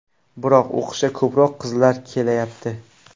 Biroq o‘qishga ko‘proq qizlar kelayapti.